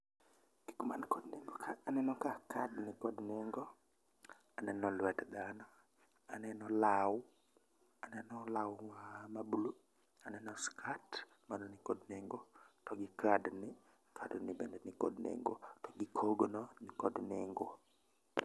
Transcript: Gigo man kod nengo ka aneno ka kad nikod nengo, aneno lwet dhano, aneno law, aneno law ma ma blue, aneno skat mano nikod nengo to gi kad ni kad ni bende nikod nengo to gi kogno nikod nengo.